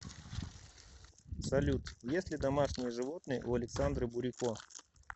салют есть ли домашние животные у александры бурико